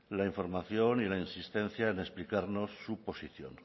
la información y la insistencia en explicarnos su posición